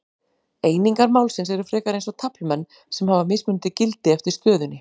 Einingar málsins eru frekar eins og taflmenn sem hafa mismunandi gildi eftir stöðunni.